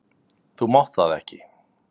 Þú mátt það ekki!